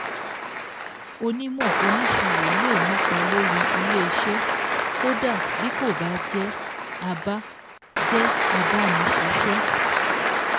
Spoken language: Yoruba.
Ònímọ̀ oníṣirò lè nípa lórí ilé iṣẹ́ kódà bí kò bá jẹ́ a bá jẹ́ a bá ni ṣíṣẹ́